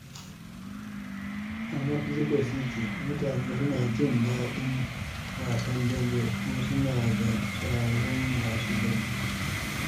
A Mexico City, mutane suna jin daɗin wasan dambe, kuma suna da shahararrun masu dambe.